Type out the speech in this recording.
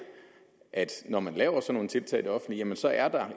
at når man laver sådan nogle tiltag i det offentlige så er der